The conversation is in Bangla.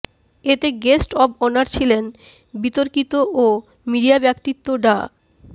এতে গেস্ট অব অনার ছিলেন বিতার্কিক ও মিডিয়া ব্যক্তিত্ব ডা